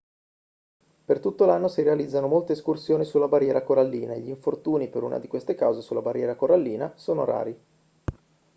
per tutto l'anno si realizzano molte escursioni sulla barriera corallina e gli infortuni per una di queste cause sulla barriera corallina sono rari